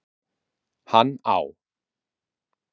Hann á